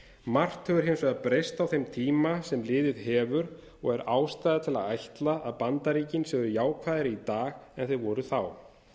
margt hefur hins vegar breyst á þeim tíma sem liðið hefur og er ástæða til að ætla að bandaríkin séu jákvæðari núna en þau voru þá